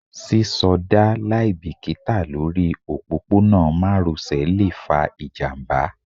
sisoda liabikita Lori opopona maròsè le fa ijamba